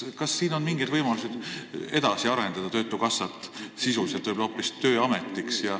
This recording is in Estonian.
Kas on mingid võimalused töötukassat sisuliselt arendada?